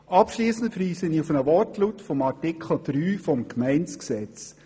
Abschliessend verweise ich auf einen Wortlaut von Artikel 3 des Gemeindegesetzes.